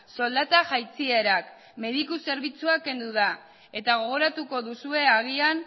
soldata jaitsierak mediku zerbitzua kendu da eta gogoratuko duzue agian